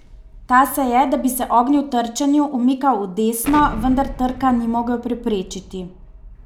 Ta se je, da bi se ognil trčenju, umikal v desno, vendar trka ni mogel preprečiti.